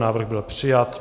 Návrh byl přijat.